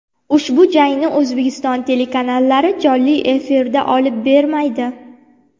Ushbu jangni O‘zbekiston telekanallari jonli efirda olib bermaydi.